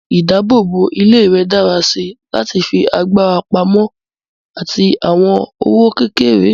Mú ìdáàbòbò ilé rẹ dára sí láti fi agbára pamọ́ àti àwọn owó kékeré.